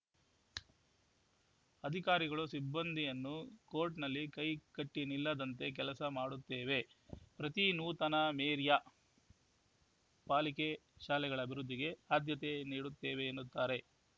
ಅಧಿಕಾರಿಗಳು ಸಿಬ್ಬಂದಿಯನ್ನು ಕೋರ್ಟ್‌ನಲ್ಲಿ ಕೈ ಕಟ್ಟಿನಿಲ್ಲದಂತೆ ಕೆಲಸ ಮಾಡುತ್ತೇವೆ ಪ್ರತಿ ನೂತನ ಮೇರಿಯಾ ಪಾಲಿಕೆ ಶಾಲೆಗಳ ಅಭಿವೃದ್ಧಿಗೆ ಅದ್ಯತೆ ನೀಡುತ್ತೇವೆ ಎನ್ನುತ್ತಾರೆ